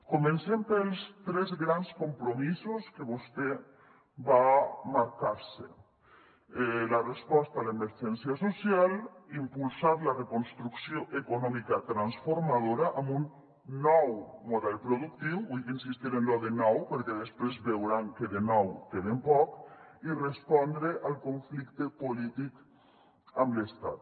comencem pels tres grans compromisos que vostè va marcar se la resposta a l’emergència social impulsar la reconstrucció econòmica transformadora amb un nou model productiu vull insistir en lo de nou perquè després veuran que de nou té ben poc i respondre al conflicte polític amb l’estat